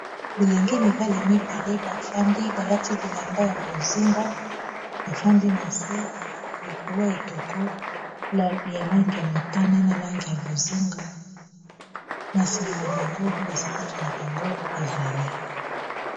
Bilengi mibale bafandi balati bilamba ya bozinga bafandi na nse likolo ya etoko ya langi ya motane na langi ya bozinga na nsima na bango basapato na bango ezali.